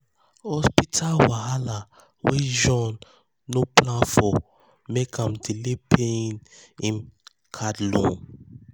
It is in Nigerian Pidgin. hospital wahala wey john no plan for make am delay paying paying him card loan.